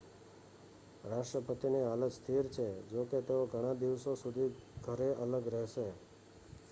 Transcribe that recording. રાષ્ટ્રપતિની હાલત સ્થિર છે જોકે તેઓ ઘણા દિવસો સુધી ઘરે અલગ રહેશે